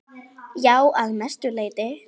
Já, að mestu leyti.